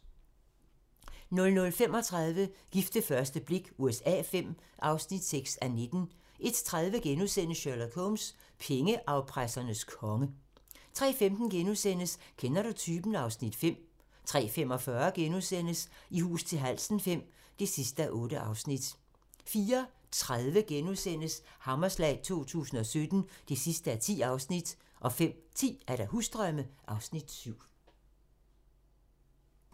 00:35: Gift ved første blik USA V (6:19) 01:30: Sherlock Holmes: Pengeafpressernes konge * 03:15: Kender du typen? (Afs. 5)* 03:45: I hus til halsen V (8:8)* 04:30: Hammerslag 2017 (10:10)* 05:10: Husdrømme (Afs. 7)